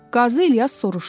Qazi İlyas soruşdu.